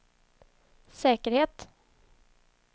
säkerhet